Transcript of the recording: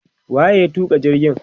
wa ye ya tuka jirgin?